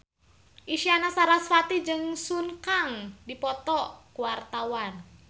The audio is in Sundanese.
Isyana Sarasvati jeung Sun Kang keur dipoto ku wartawan